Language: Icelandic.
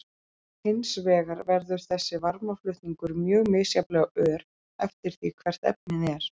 Hins vegar verður þessi varmaflutningur mjög misjafnlega ör eftir því hvert efnið er.